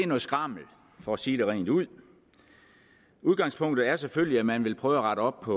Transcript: noget skrammel for at sige det rent ud udgangspunktet er selvfølgelig at man vil prøve at rette op på